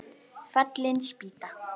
Fallin spýta